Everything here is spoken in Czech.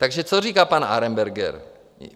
Takže co říká pan Arenberger?